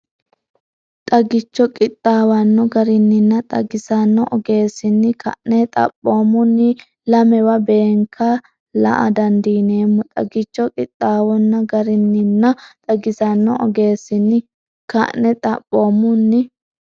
Xagicho qixxaawanno garinninna xagisanno ogeessinni ka’ne xaphoo- munni lamewa beenke la”a dandiineemmo Xagicho qixxaawanno garinninna xagisanno ogeessinni ka’ne xaphoo- munni.